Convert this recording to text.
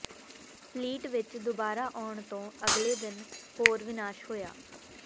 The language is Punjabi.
ਫਲੀਟ ਵਿਚ ਦੁਬਾਰਾ ਆਉਣ ਤੋਂ ਅਗਲੇ ਦਿਨ ਹੋਰ ਵਿਨਾਸ਼ ਹੋਇਆ